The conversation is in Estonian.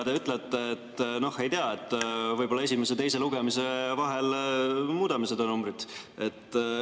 Te ütlete, et noh, ei tea, võib-olla esimese ja teise lugemise vahel muudame seda numbrit.